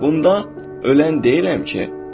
Bunda ölən deyiləm ki.